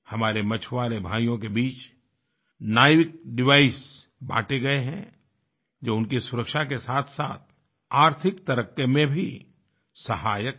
हमारे मछुआरे भाइयों के बीच नेविकडिवाइस बांटे गए हैंजो उनकी सुरक्षा के साथसाथ आर्थिक तरक्कीमें भी सहायक है